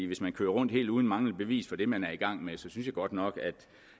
hvis man kører rundt helt uden bevis for det man er i gang med så synes jeg godt nok